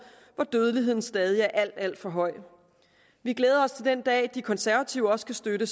hvor dødeligheden stadig er alt alt for høj vi glæder os til den dag hvor de konservative også kan støtte